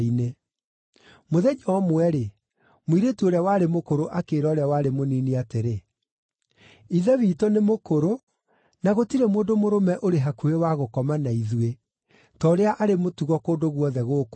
Mũthenya ũmwe-rĩ, mũirĩtu ũrĩa warĩ mũkũrũ akĩĩra ũrĩa warĩ mũnini atĩrĩ, “Ithe witũ nĩ mũkũrũ, na gũtirĩ mũndũ mũrũme ũrĩ hakuhĩ wa gũkoma na ithuĩ, ta ũrĩa arĩ mũtugo kũndũ guothe gũkũ thĩ.